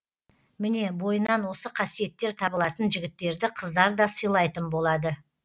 міне бойынан осы қасиеттер табылатын жігіттерді қыздар да сыйлайтын болады